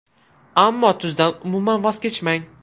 Ammo tuzdan umuman voz kechmang.